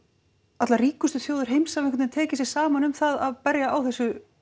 allar ríkustu þjóðir heims hafi bara tekið sig saman um það að berja á þessu